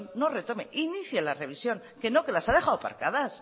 no retome inicie la revisión que no que las ha dejado aparcadas